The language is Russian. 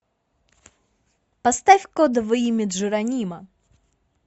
поставь кодовое имя джеронимо